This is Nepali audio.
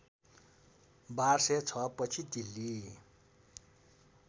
१२०६ पछि दिल्ली